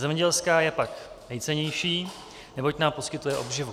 Zemědělská je pak nejcennější, neboť nám poskytuje obživu.